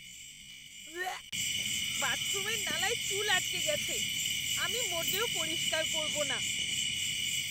Walk! বাথরুমের নালায় চুল আটকে গেছে। আমি মোটেও পরিষ্কার করব না।